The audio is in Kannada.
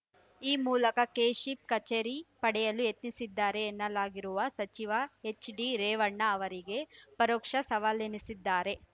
ಈ ಮೂಲಕ ಕೆಶಿಪ್‌ ಕಚೇರಿ ಪಡೆಯಲು ಯತ್ನಿಸಿದ್ದಾರೆ ಎನ್ನಲಾಗಿರುವ ಸಚಿವ ಎಚ್‌ಡಿರೇವಣ್ಣ ಅವರಿಗೆ ಪರೋಕ್ಷ ಸವಾಲೆನಿಸಿದ್ದಾರೆ